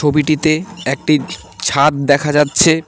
ছবিটিতে একটি ছাদ দেখা যাচ্ছে।